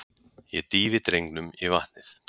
Ég dýfi drengnum í vatnið.